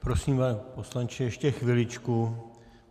Prosím, pane poslanče, ještě chviličku...